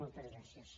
moltes gràcies